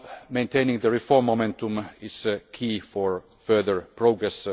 Maintaining the reform momentum is key to further progress.